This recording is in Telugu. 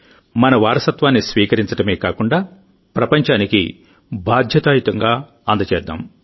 మన వారసత్వాన్ని స్వీకరించడమే కాకుండాప్రపంచానికి బాధ్యతాయుతంగా అందజేద్దాం